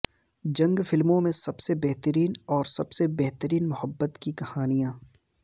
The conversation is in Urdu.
جنگ فلموں میں سب سے بہترین اور سب سے بہترین محبت کی کہانیاں